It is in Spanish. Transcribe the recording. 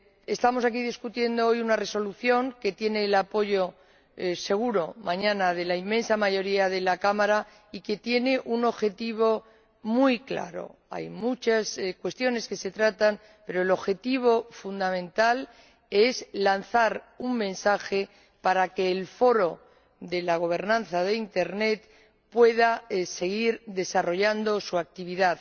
Estamos discutiendo hoy una Resolución que tendrá el apoyo seguro —mañana— de la inmensa mayoría de la Cámara y que tiene un objetivo muy claro. Son muchas las cuestiones que se tratan, pero el objetivo fundamental es lanzar un mensaje para que el Foro para la Gobernanza de Internet pueda seguir desarrollando su actividad.